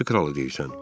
Hansı kralı deyirsən?